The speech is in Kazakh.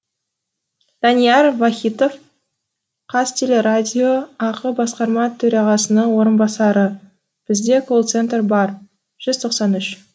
данияр вахитов қазтелерадио ақ басқарма төрағасының орынбасары бізде колл центр бар жүз тоқсан үш